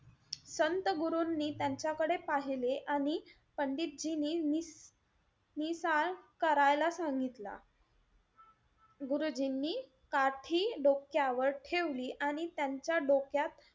संत गुरूंनी त्यांच्याकडे पाहिले आणि पंडितजींनी नी~ नीसह करायला सांगितला. गुरुजींनी काठी डोक्यावर ठेवली आणि त्यांच्या डोक्यात,